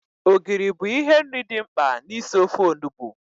Ogiri bụ ihe nri dị mkpa na isi ofe Onugbu